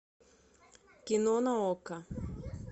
кино на окко